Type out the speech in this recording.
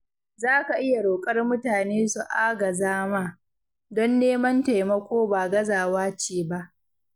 Za ka iya roƙar mutane su agaza ma, don neman taimako ba gazawa ce ba.